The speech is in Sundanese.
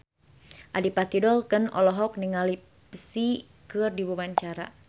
Adipati Dolken olohok ningali Psy keur diwawancara